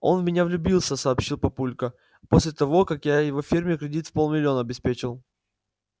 он в меня влюбился сообщил папулька после того как я его ферме кредит в полмиллиона обеспечил